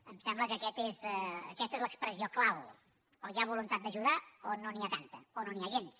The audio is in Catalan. em sembla que aquesta és l’expressió clau o hi ha voluntat d’ajudar o no n’hi ha tanta o no n’hi ha gens